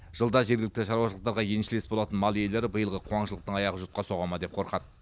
жылда жергілікті шаруашылықтарға еншілес болатын мал иелері биылғы қуаңшылықтың аяғы жұтқа соға ма деп қорқады